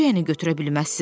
Necə yəni götürə bilməzsiniz?